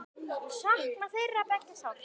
Ég sakna þeirra beggja sárt.